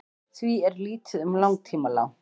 því er lítið um langtímalán